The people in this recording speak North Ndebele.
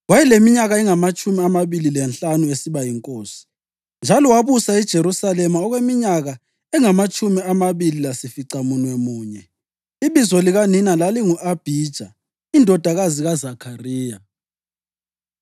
Wayeleminyaka engamatshumi amabili lanhlanu esiba yinkosi, njalo wabusa eJerusalema okweminyaka engamatshumi amabili lasificamunwemunye. Ibizo likanina lalingu-Abhija indodakazi kaZakhariya.